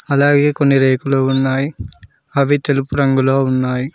అలాగే కొన్ని రేకులు ఉన్నాయ్ అవి తెలుపు రంగులో ఉన్నాయ్.